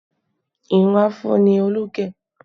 Irun Afro ni Olú gẹ̀